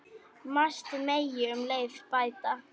Margt megi um leið bæta.